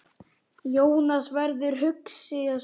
Jónas verður hugsi á svip.